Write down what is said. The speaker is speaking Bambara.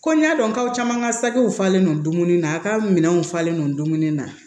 Ko n y'a dɔn k'aw caman ka sakiw falen don dumuni na a ka minɛnw falen don dumuni na